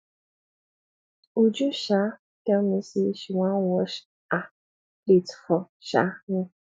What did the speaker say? uju um tell me say she one wash um plate for um me